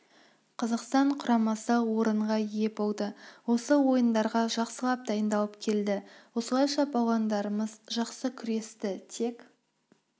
қазақстан құрамасы орынға ие болды осы ойындарға жақсылап дайындалып келді осылайша балуандарымыз жақсы күресті тек